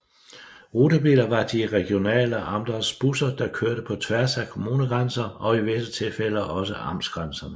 Rutebiler var de regionale Amts busser der kørte på tværs at kommunegrænser og i visse tilfælde også amtsgrænserne